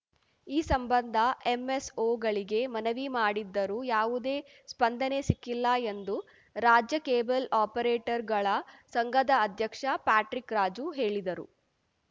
ಈ ಸಂಬಂಧ ಎಂಎಸ್‌ಓಗಳಿಗೆ ಮನವಿ ಮಾಡಿದ್ದರೂ ಯಾವುದೇ ಸ್ಪಂದನೆ ಸಿಕ್ಕಿಲ್ಲ ಎಂದು ರಾಜ್ಯ ಕೇಬಲ್‌ ಆಪರೇಟರ್‌ಗಳ ಸಂಘದ ಅಧ್ಯಕ್ಷ ಪ್ಯಾಟ್ರಿಕ್‌ ರಾಜು ಹೇಳಿದರು